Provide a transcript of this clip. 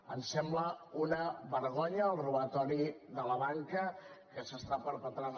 ens sembla una vergonya el robatori de la banca que s’està perpetrant